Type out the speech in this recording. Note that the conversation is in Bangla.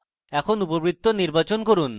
এখন উপবৃত্ত নির্বাচন করুন